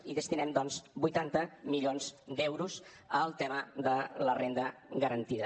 i destinem doncs vuitanta milions d’euros al tema de la renda garantida